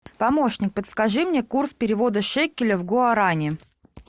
помощник подскажи мне курс перевода шекелей в гуарани